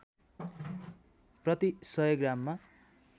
प्रति १०० ग्राममा